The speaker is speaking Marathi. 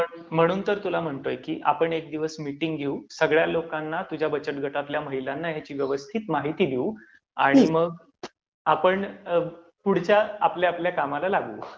म्हणून तर तुला म्हणतोय की आपण एक दिवस मिटिंग घेऊ, सगळ्या लोकांना, तुझ्या बचत गटातल्या महिलांना ह्याची व्यवस्थित माहिती देऊ, आणि मग आपण पुढच्या आपापल्या कामाला लागू.